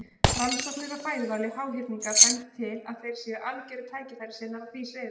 Rannsóknir á fæðuvali háhyrninga bendir til að þeir séu algjörir tækifærissinnar á því sviði.